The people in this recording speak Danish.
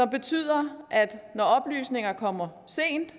betyder at når oplysninger kommer sent